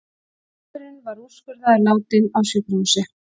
Maðurinn var úrskurðaður látinn á sjúkrahúsi